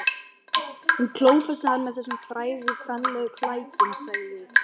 Hún klófesti hann með þessum frægu kvenlegu klækjum, sagði